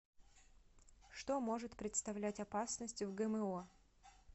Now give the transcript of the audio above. что может представлять опасность в гмо